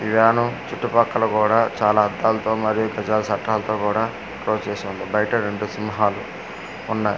ఈ వ్యాను చుట్టూ పక్కలా కూడా చాలా అద్దాలతో మరియు సటలతో కూడా క్లోస్ చేసి ఉంది బయట రెండు సింహాలు ఉన్నాయి అం--